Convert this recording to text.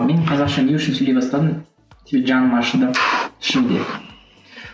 мен қазақша не үшін сөйлей бастадым себебі жаным ашыды ішімде